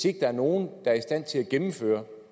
ikke er nogen der er i stand til at gennemføre